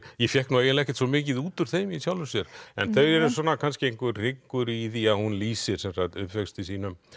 ég fékk eiginlega ekkert svo mikið út úr þeim í sjálfu sér en þau eru kannski einhver hryggur í því að hún lýsir uppvexti sínum